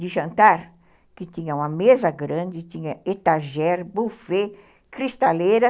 de jantar, que tinha uma mesa grande, tinha etagé, buffet, cristaleira.